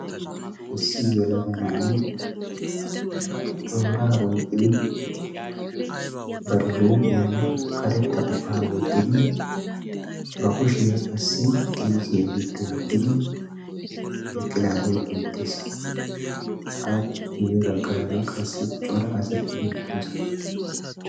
Issi yelaga na'ay tooraa oyqqidi bari huuphphiyaan karetta qohphaa wottidi ba kushshiyaa qassi kiisiyaa giddo yeddidi eqqidaagee beettees. appe guye baggaara qassi cora asati beettoosona.